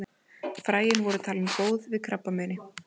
Fræin voru talin góð við krabbameini.